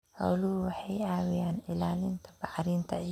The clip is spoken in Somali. Xooluhu waxay caawiyaan ilaalinta bacrinta ciidda.